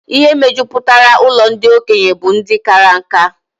Ihe mejupụtara ụlọ ndị okenye bụ ndị kara nkà